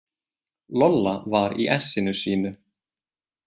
Lolla var í essinu sínu.